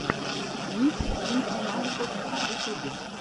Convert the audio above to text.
микс дмитрий маликов в ютубе